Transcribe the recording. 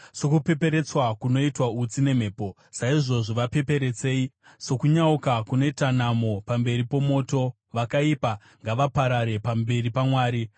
Sokupeperetswa kunoitwa utsi nemhepo, saizvozvo vapeperetsei; sokunyauka kunoita namo pamberi pomoto, vakaipa ngavaparare pamberi paMwari.